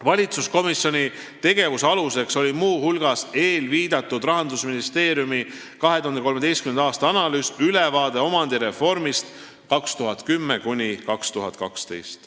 Valitsuskomisjoni tegevuse aluseks oli muu hulgas Rahandusministeeriumi 2013. aasta eelviidatud analüüs "Ülevaade omandireformist 2010–2012".